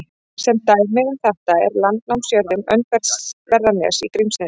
Sem dæmi um þetta er landnámsjörðin Öndverðarnes í Grímsnesi.